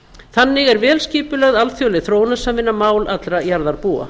þannig er vel skipulögð alþjóðleg þróunarsamvinna mál allra jarðarbúa